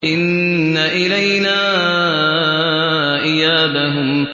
إِنَّ إِلَيْنَا إِيَابَهُمْ